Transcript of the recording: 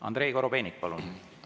Andrei Korobeinik, palun!